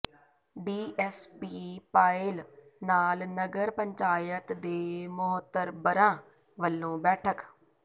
DSP Payal ਨਾਲ ਨਗਰ ਪੰਚਾਇਤ ਦੇ ਮੋਹਤਬਰਾਂ ਵਲੋਂ ਬੈਠਕ